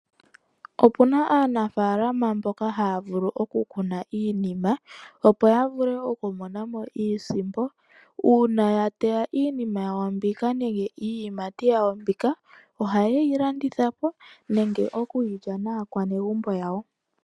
Opuna aanafaalama mboka haya vulu okukuna iinima opo ya vule okumona mo iisimpo. Uuna ya teya iinima yawo mbika nenge iiyimati yawo mbika ohaye yi landitha po nenge okuyi lya naakwanegumbo yawo.